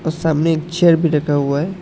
और सामने एक चेयर भी रखा हुआ है।